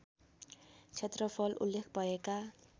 क्षेत्रफल उल्लेख भएका